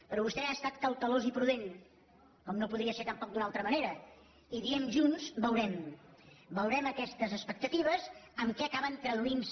però vostè ha estat cautelós i prudent com no podria ser tampoc d’una altra manera i diem junts ho veurem veurem aquestes expectatives en què acaben traduint se